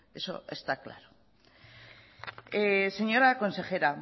eso está claro señora consejera